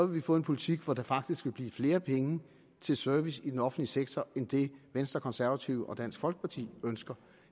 vi få en politik hvor der faktisk vil blive flere penge til service i den offentlige sektor end det venstre konservative og dansk folkeparti ønsker